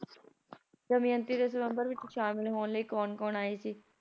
ਦਮਯੰਤੀ ਦੇ ਸਵੰਬਰ ਵਿੱਚ ਸ਼ਾਮਲ ਹੋਣ ਲਈ ਕੌਣ ਕੌਣ ਆਏ ਸੀ,